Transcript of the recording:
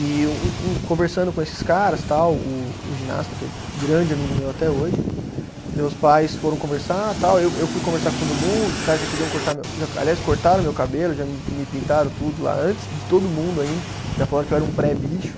E um um, conversando com esses caras tal, o o ginasta, que é grande amigo meu até hoje, meus pais foram conversar tal, eu eu fui conversar com todo mundo, os caras já queriam cortar meu, aliás, cortaram meu cabelo, já me pintaram tudo lá, antes de todo mundo ainda, já falaram que eu era um pré-bicho.